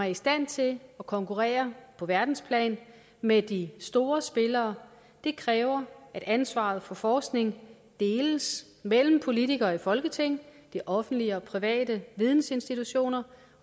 i stand til at konkurrere på verdensplan med de store spillere kræver at ansvaret for forskning deles mellem politikere i folketing de offentlige og de private vidensinstitutioner